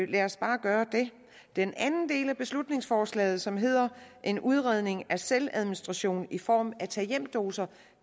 lad os bare gøre det den anden del af beslutningsforslaget som hedder en udredning af selvadministration i form af tag hjem doser